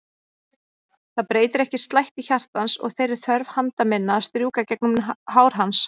Það breytir ekki slætti hjartans og þeirri þörf handa minna að strjúka gegnum hár hans.